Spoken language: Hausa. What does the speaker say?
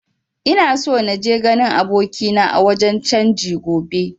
Ina so naje ganin abokina a wajen canji gobe